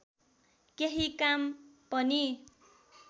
केही काम पनि